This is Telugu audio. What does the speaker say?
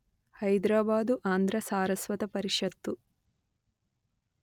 హైద్రాబాదు ఆంధ్ర సారస్వత పరిషత్తు